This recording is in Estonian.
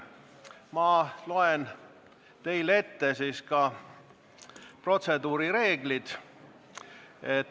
Ma loen teile ette protseduurireeglid.